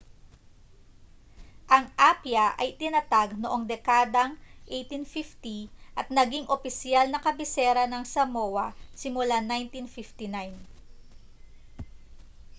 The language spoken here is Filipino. ang apia ay itinatag noong dekadang 1850 at naging opisyal na kabisera ng samoa simula 1959